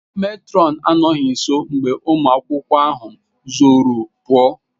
Matron anọghị nso mgbe ụmụ akwụkwọ ahụ zoro pụa.